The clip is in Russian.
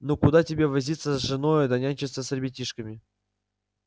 ну куда тебе возиться с женою да нянчиться с ребятишками